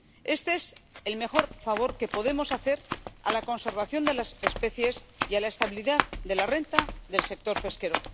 Este es el mejor favor que podemos hacer a la conservación de las especies y a la estabilidad de la renta del sector pesquero.